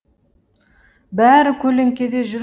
бәрі көлеңкеде жүр